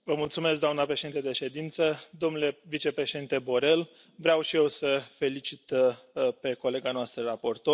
Doamna președintă de ședință, domnule vicepreședinte Borrell, vreau și eu să o felicit pe colega noastră raportor.